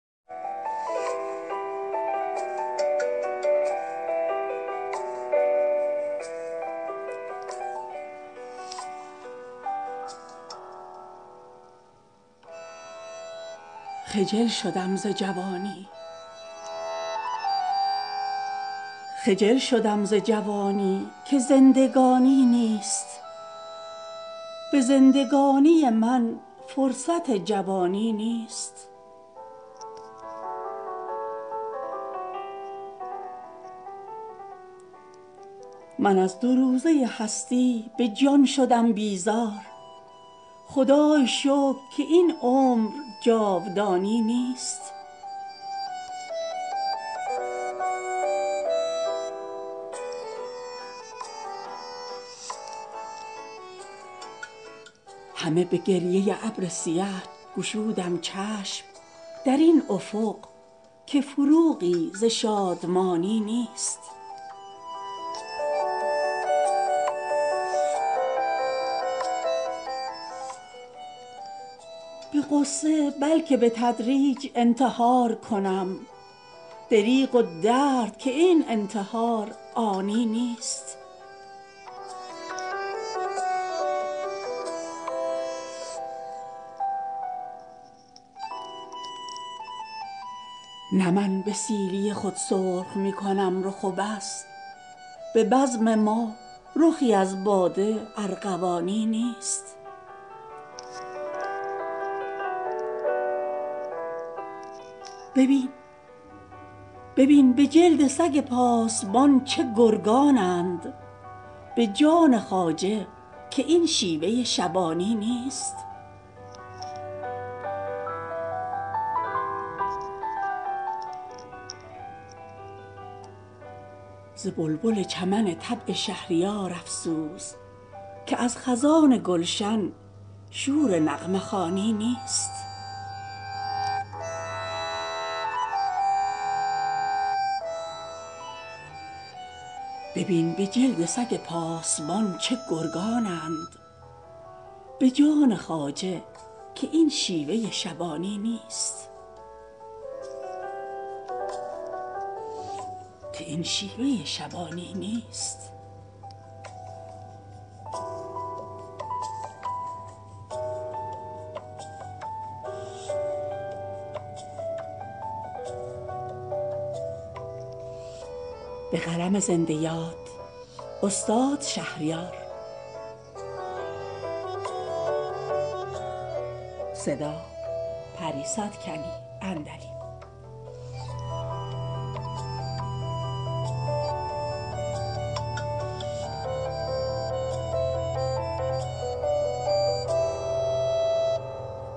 خجل شدم ز جوانی که زندگانی نیست به زندگانی من فرصت جوانی نیست من از دو روزه هستی به جان شدم بیزار خدای شکر که این عمر جاودانی نیست همه به گریه ابر سیه گشودم چشم در این افق که فروغی ز شادمانی نیست به غصه بلکه به تدریج انتحار کنم دریغ و درد که این انتحار آنی نیست نه من به سیلی خود سرخ میکنم رخ و بس به بزم ما رخی از باده ارغوانی نیست ببین به جلد سگ پاسبان چه گرگانند به جان خواجه که این شیوه شبانی نیست ز بلبل چمن طبع شهریار افسوس که از خزان گلش شور نغمه خوانی نیست